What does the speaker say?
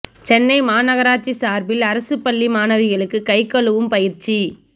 சென்னை மாநகராட்சி சார்பில் அரசுப் பள்ளி மாணவிகளுக்கு கை கழுவும் பயிற்சி